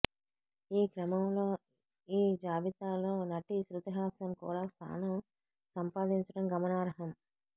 ఈ క్రమంలో ఈ జాబితాలో నటి శ్రుతిహాసన్ కూడా స్థానం సంపాదించడం గమనార్హం